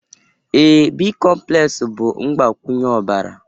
ee, bicomplex bụ mgbakwunye ọbara